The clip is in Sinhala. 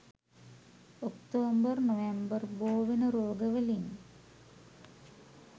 ඔක්තෝබර් නොවැම්බර් බෝවෙන රෝගවලින්